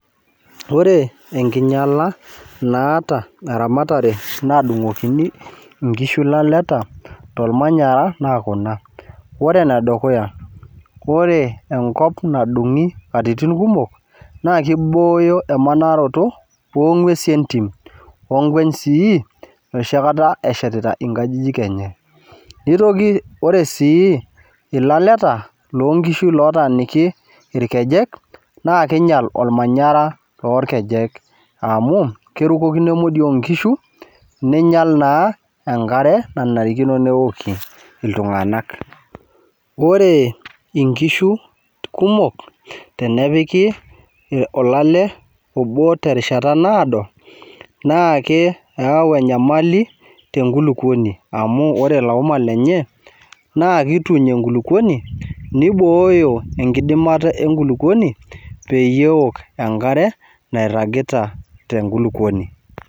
Ore enkinyala naata eramatare nadungokini inkishu ilaleta to imanyara naa kuna, ore ne dukuya, kore enkop nadung'i nkatitin kumok naa keibooyo emanoroto too inguesi entim onkweny sii noshi kata enshetita inkajijik enye, neitoki ore sii ilaleta loo inkishu lotaaniki ilkejek naa keinyal ilmanyara loolkejek amu kerukoki ina modioo onkishu, neinyal naa enkare nenarikino neoli iltunganak. Ore inkishu kumok tenepiki olale obo te rishata naodo naa keyau enyamali te nkuluponi amu ore ilo uma lenye naa keituny enkuluponi, neiboooyo enkidimata enkuluponi peyie eok enkare nairagita te nkuluponi.